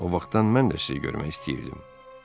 O vaxtdan mən də sizi görmək istəyirdim.